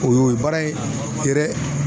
O y'o ye baara in gɛrɛ